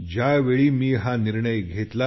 ज्यावेळी मी हा निर्णय घेतला